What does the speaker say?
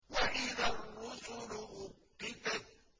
وَإِذَا الرُّسُلُ أُقِّتَتْ